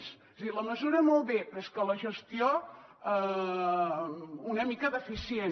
és a dir la mesura molt bé però és que la gestió una mica deficient